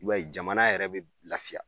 I b'a ye jamana yɛrɛ bɛ lafiya.